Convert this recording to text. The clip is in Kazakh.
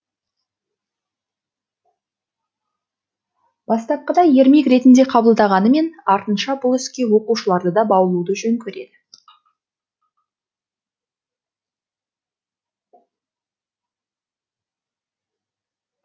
бастапқыда ермек ретінде қабылдағанымен артынша бұл іске оқушыларды да баулуды жөн көреді